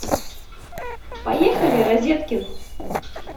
поехали розеткин